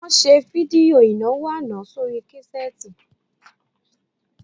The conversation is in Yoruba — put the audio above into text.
Wọ́n ṣe fídíò ìnáwó àná sórí késẹ́ẹ́tì